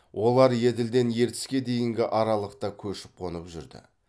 олар еділден ертіске дейінгі аралықта көшіп қонып жүрді